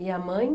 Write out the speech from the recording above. E a mãe?